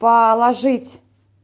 положить